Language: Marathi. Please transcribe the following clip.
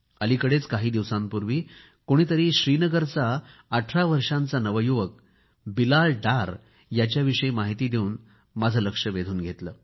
अलिकडेच काही दिवसांपूर्वी माझे कोणीतरी श्रीनगरचा 18 वर्षाचा नवयुवक बिलाल डार याच्याविषयी माहिती देवून लक्ष वेधून घेतले